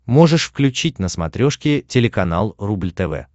можешь включить на смотрешке телеканал рубль тв